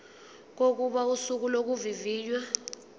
kokuba usuku lokuvivinywa